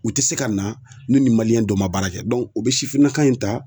U tɛ se ka na ni nin dɔ ma baara kɛ u bɛ sifinnaka in ta.